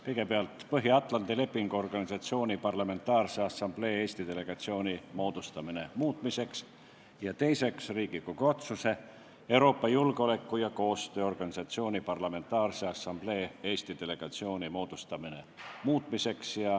Kõigepealt, Riigikogu otsuse "Põhja-Atlandi Lepingu Organisatsiooni Parlamentaarse Assamblee Eesti delegatsiooni moodustamine" muutmiseks, ja teiseks, Riigikogu otsuse "Euroopa Julgeoleku- ja Koostööorganisatsiooni Parlamentaarse Assamblee Eesti delegatsiooni moodustamine" muutmiseks.